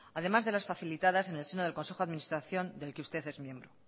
además de las facilitadas en el seno del consejo de administración del que usted es miembro